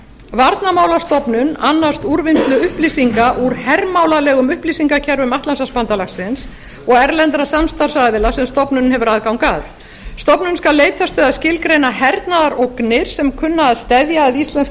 varnarmálastofnun annast úrvinnslu upplýsinga úr hermálalegum upplýsingakerfum atlantshafsbandalagsins og erlendra samstarfsaðila sem stofnunin hefur aðgang að stofnunin skal leitast við að skilgreina hernaðarógnir sem kunna að steðja að íslensku